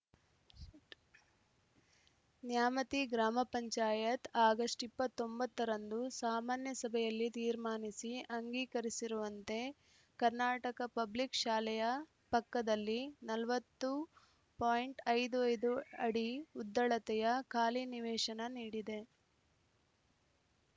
ನ್ಯಾಮತಿ ಗ್ರಾಮ ಪಂಚಾಯತ್ ಆಗಸ್ಟ್ ಇಪ್ಪತ್ತ್ ಒಂಬತ್ತ ರಂದು ಸಾಮಾನ್ಯ ಸಭೆಯಲ್ಲಿ ತೀರ್ಮಾನಿಸಿ ಅಂಗೀಕರಿಸಿರುವಂತೆ ಕರ್ನಾಟಕ ಪಬ್ಲಿಕ್‌ ಶಾಲೆಯ ಪಕ್ಕದಲ್ಲಿ ನಲವತ್ತು ಐವತ್ತ್ ಐದು ಅಡಿ ಉದ್ದಳತೆಯ ಖಾಲಿ ನಿವೇಶನ ನೀಡಿದೆ